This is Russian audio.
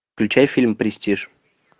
включай фильм престиж